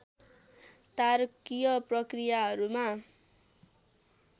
तारकीय प्रक्रियाहरूमा